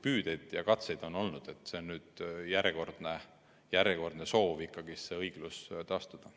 Püüdeid ja katseid on olnud ning see on nüüd järjekordne soov õiglus taastada.